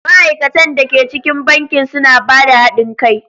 Ma'aikatan da ke cikin bankin suna ba da haɗin kai.